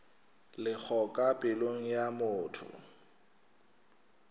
lego ka pelong ya motho